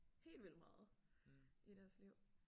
Helt vildt meget i deres liv